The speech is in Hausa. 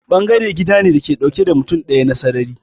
Apartment gida ne dauke da mutum daya na sarrari.